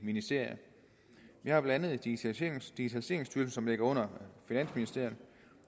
ministerier vi har blandt andet digitaliseringsstyrelsen som ligger under finansministeriet